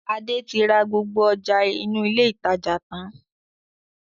Adé tí ra gbogbo ọjà inú ilé ìtajà tàn-án